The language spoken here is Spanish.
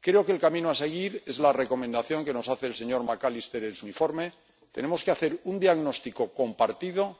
Creo que el camino a seguir es la recomendación que nos hace el señor McAllister en su informe tenemos que hacer un diagnóstico compartido